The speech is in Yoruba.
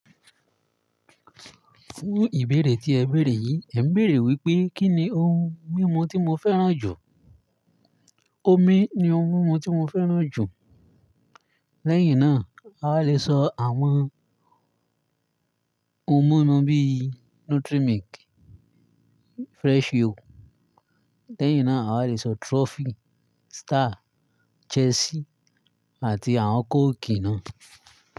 Fún ìbéèrè tí ẹ bèèrè yìí, ẹ̀ ń bèèrè wípé kí ni ohun mímu tí mo fẹ́ràn jù? Omi ni ohun mímu tí mo fẹ́ràn jù. Lẹ́yìn náà, a lè sọ àwọn ohun mímu bí i Nutri milk, Fresh yo. Lẹ́yìn náà, a lè sọ Trophy, Star, Chelsea àti àwọn kóòkì náà.